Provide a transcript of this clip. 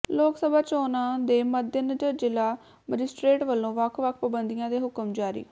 ਲੋਕ ਸਭਾ ਚੋਣਾਂ ਦੇ ਮੱਦੇਨਜ਼ਰ ਜ਼ਿਲਾ ਮੈਜਿਸਟ੍ਰੇਟ ਵੱਲੋਂ ਵੱਖ ਵੱਖ ਪਾਬੰਦੀਆਂ ਦੇ ਹੁਕਮ ਜਾਰੀ